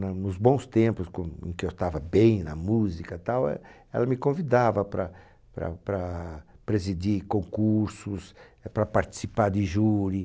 Na nos bons tempos quand, em que eu estava bem na música, tal e... Ela me convidava para para para presidir concursos, eh para participar de júri.